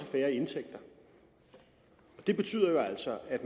færre indtægter det betyder jo altså at